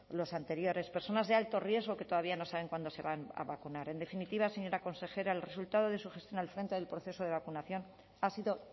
los anteriores personas de alto riesgo que todavía no saben cuándo se van a vacunar en definitiva señora consejera el resultado de su gestión al frente del proceso de vacunación ha sido